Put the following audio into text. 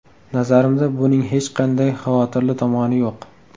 Nazarimda, buning hech qanday xavotirli tomoni yo‘q”.